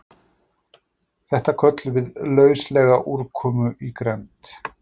Þetta köllum við lauslega úrkomu í grennd.